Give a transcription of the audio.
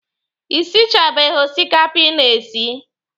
Ị sichabeghi osikapa ị na-esi?